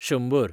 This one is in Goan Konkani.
शंबर